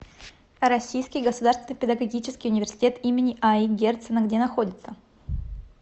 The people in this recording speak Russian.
российский государственный педагогический университет им аи герцена где находится